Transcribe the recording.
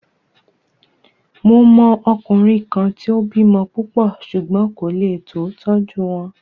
Mo mọ ọkùnrin kan tí o bímọ púpọ̀ ṣùgbón kò lé tó tọ́jú wọn.